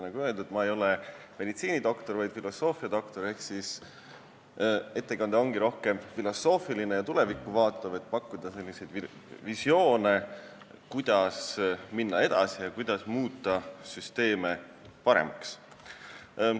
Nagu öeldud, ma ei ole meditsiinidoktor, vaid filosoofiadoktor ehk siis ettekanne ongi rohkem filosoofiline ja tulevikku vaatav, et pakkuda visioone, kuidas minna edasi ja muuta süsteeme paremaks.